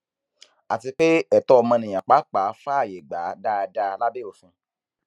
àti pé ẹtọ ọmọnìyàn pàápàá fààyè gbà á dáadáa lábẹ òfin